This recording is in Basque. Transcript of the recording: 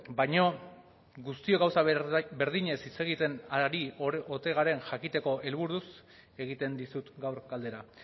baina guztiok gauza berdinez hitz egiten ari ote garen jakiteko helburuz egiten dizut gaur galdera